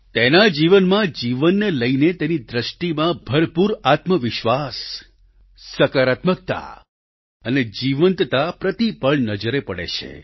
તેના જીવનમાં જીવનને લઈને તેની દ્રષ્ટિમાં ભરપૂર આત્મવિશ્વાસ સકારાત્મકતા અને જીવંતતા પ્રતિ પળ નજરે પડે છે